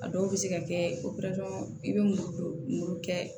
A dɔw bɛ se ka kɛ i bɛ mulu kɛ